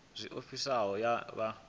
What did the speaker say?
zwe ofisi iyi ya vha